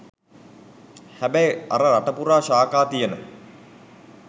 හැබැයි අර රට පුරා ශාඛා තියන